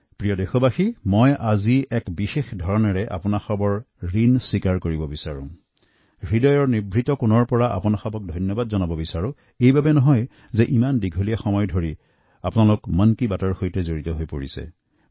মোৰ প্ৰিয় দেশবাসী মই আপোনালোকৰ ওচৰত বিশেষভাবে ঋণ স্বীকাৰ কৰিব বিচাৰো আৰু আন্তৰিক কৃতজ্ঞতা জনাতে বিচাৰিছো কাৰণ আপোনালোকে দীৰ্ঘদিন ধৰি মন কী বাতৰ সৈতে জড়িত হৈ আছে